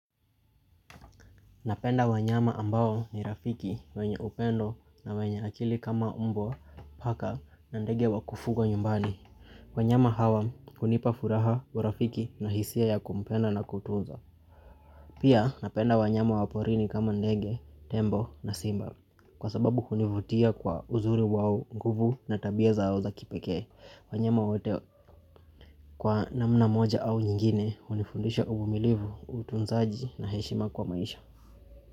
Napenda wanyama ambao ni rafiki wenye upendo na wenye akili kama mbwa, paka na ndege wakufugwa nyumbani. Wanyama hawa hunipa furaha urafiki na hisia ya kumpenda na kutunzwa Pia napenda wanyama waporini kama ndege, tembo na simba kwa sababu hunivutia kwa uzuri wao nguvu na tabia zao za kipekee. Wanyama wote kwa namna moja au nyingine unifundisha uvumilivu, utunzaji na heshima kwa maisha.